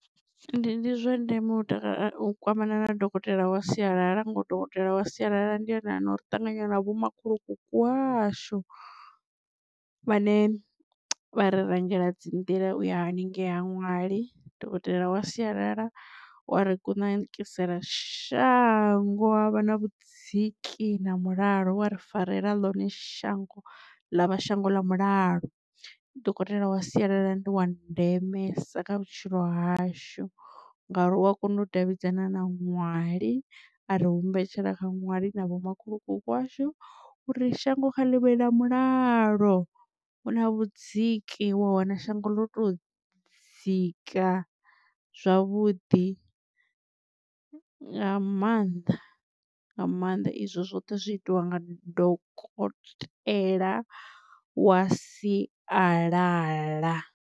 Ndi ndi zwa ndeme u tea u kwamana na dokotela wa sialala nga uri dokotela wa sialala ndi ene a na uri ṱanganya na vho makhulukuku washu vha ne vha ri rangela dzi nḓila uya haningei ha ṅwali. Dokotela wa sialala u wa ri kunakisela shango havha na vhudziki na mulalo wa ri farela ḽone shango ḽa vha shango ḽa mulalo. Dokotela wa sialala ndi wa ndemesa kha vhutshilo hashu ngauri u a kona u davhidzana na ṅwali ari humbetshela kha nwali na vho makhulukuku washu uri shango kha ḽivhe na mulalo hu na vhudziki wa wana shango ḽo to dzika zwavhuḓi nga maanḓa nga maanḓa izwo zwoṱhe zwi itiwa nga dokotela wa sialala.